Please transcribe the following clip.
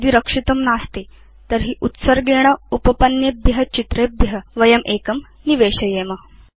यदि रक्षितं नास्ति तर्हि उत्सर्गेण उपपन्नेभ्य चित्रेभ्य वयम् एकं निवेशयेम